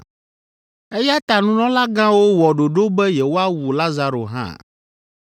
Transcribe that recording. Eya ta nunɔlagãwo wɔ ɖoɖo be yewoawu Lazaro hã,